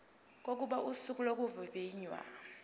kokuba usuku lokuvivinywa